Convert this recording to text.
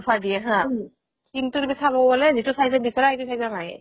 offer দিয়ে হা কিন্তু তুমি চাব গ'লে যিতো size ত বিচাৰা সেইটো size ত নাইয়ে